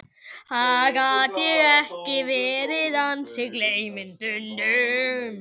Gat ég ekki verið ansi gleyminn stundum?